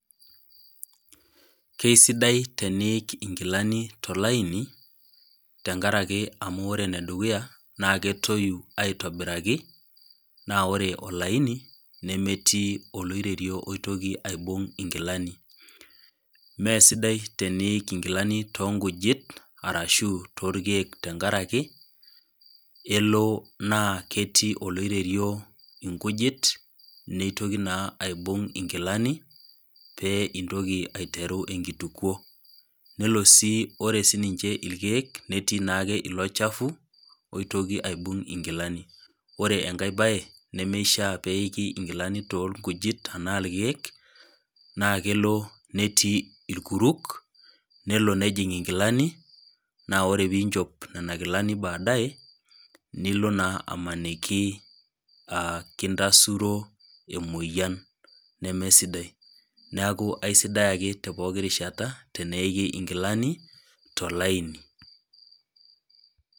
Kesidai teniik nkilani tolaini amu ore enedukuya na ketoi aitobiraki na ore olaini nemetii oloiterio oitoki aibung nkilani mesidai teniik nkilani tonkujit ashu torkiek nilo na ketii olorerio nkujit nitoki na aibung nkilanipeitoki intoki aiteru enkituko nelobsi ore sinnche irkiek netii ilo chafu oitoki aibung nkilani ore enkae embae nemishaa peik nkilani torkujit na rkiek na ketii netii irkuruk na nelo nejing nkilani na ore pinchoo nona kilani baadaye nilo na amaniki kintasuro emoyian nemesidai neaku aisidai ake tinarishata teneiki nkilani tolaini.